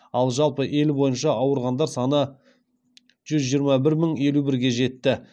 ал жалпы ел бойынша ауырғандар саны жүз жиырма бір мың елу бірге жетті